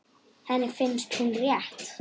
Henni finnst hún rétt.